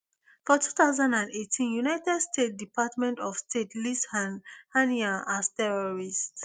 for two thousand and eighteen united states department of state list haniyeh as terrorist